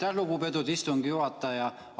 Aitäh, lugupeetud istungi juhataja!